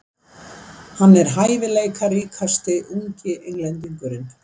Hann er hæfileikaríkasti ungi Englendingurinn.